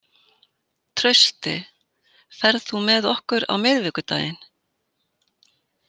Trausti, ferð þú með okkur á miðvikudaginn?